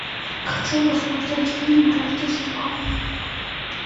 хочу посмотреть фильм рождество